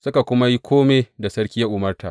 Suka kuma yi kome da sarki ya umarta.